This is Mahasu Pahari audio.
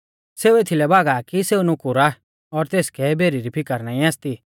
सेऊ एथीलै भागा आ कि सेऊ नुकुर आ और तेसकै भेरी री फिकर नाईं आसती